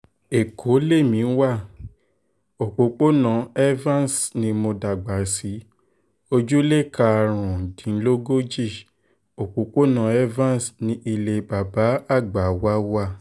ẹ̀kọ́ lèmi wa òpópónà evans ni mo dàgbà sí ojúlé karùndínlógójì òpópónà evans ní ilé bàbá àgbà wa wà